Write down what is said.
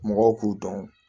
Mɔgɔw k'u dɔn